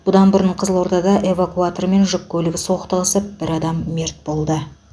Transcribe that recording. бұдан бұрын қызылордада эвакуатор мен жүк көлігі соқтығысып бір адам мерт болды